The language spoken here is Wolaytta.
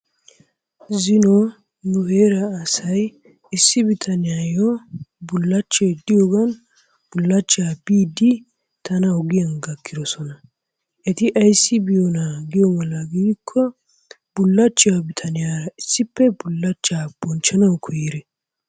Zino nu heerra asay issi bittaniyayo bullachchay diyogaan bullachchaa biidi tana ogiyan gakidosona. Eti ayssi biyoona gikko bullachchaa bittaniyaara issippe bullachchaa bonchchanawu koyiri.